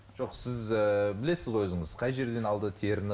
жоқ сіз ыыы білесіз ғой өзіңіз қай жерден алды теріні